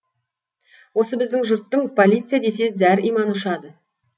осы біздің жұрттың полиция десе зәр иманы ұшады